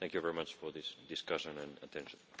Thank you very much for this discussion and your attention.